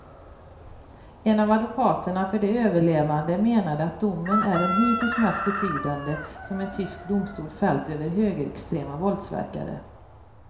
En av advokaterna för de överlevande menade ett domen är den hittills mest betydande som en tysk domstol fällt över högerextrema våldsverkare.